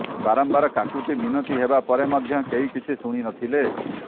ବାରମ୍ବାର କାକୁତି ମିନତି ହେବା ପରେ ମଧ୍ୟ କେହି କିଛି ଶୁଣିନଥିଲେ